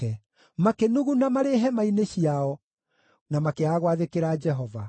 Makĩnuguna marĩ hema-inĩ ciao, na makĩaga gwathĩkĩra Jehova.